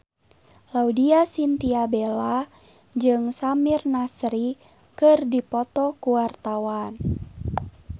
Laudya Chintya Bella jeung Samir Nasri keur dipoto ku wartawan